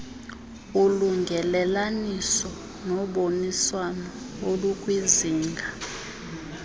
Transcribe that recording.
ulungelelaniso noboniswano olukwizinga